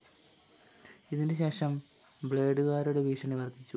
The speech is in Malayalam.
ഇതിന് ശേഷം ബ്‌ളേഡുകരുടെ ഭീഷണി വര്‍ദ്ധിച്ചു